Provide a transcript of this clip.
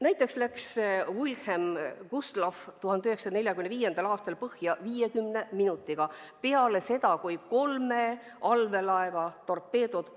Näiteks läks Wilhelm Gustloff 1945. aastal põhja 50 minutiga pärast seda, kui teda olid tabanud kolme allveelaeva torpeedod.